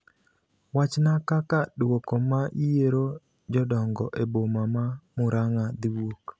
Wachna kaka duoko ma yiero jodongo e boma ma Muranga dhiwuok